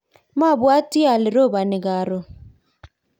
mabwoti ale roboni karon